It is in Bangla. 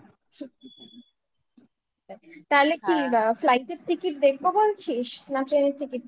তাহলে কি flight এর ticket দেখবো বলছিস না train ticket দেখবো